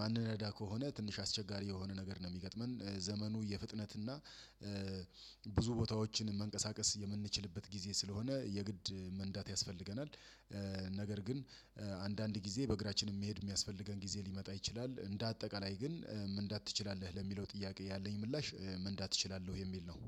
ማንነዳ ከሆነ ትንሽ አስቸጋሪ የሆነ ነገር ነው የሚገጥመን። ዘመኑ የፍጥነት እና ብዙ ቦታዎችን መንቀሳቀስ የምንችልበት ግዜ ስለሆነ የግድ መንዳት ያስፈልገናል። ነገር ግን አንዳንድ ጊዜ በእግራችን መሄድ የሚያስፈልገን ግዜ ሊመጣ ይችላል። እንደ አጠቃላይ ግን መንዳት ትችላለህ ለሚለው ጥያቄ ያለኝ ምላሽ መንዳት እችላለሁ የሚል ነው።